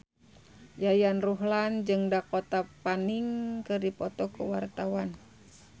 Yayan Ruhlan jeung Dakota Fanning keur dipoto ku wartawan